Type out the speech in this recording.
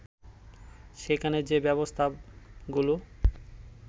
সেখানে যে ব্যবস্থাগুলো